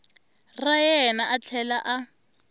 ra yena a tlhela a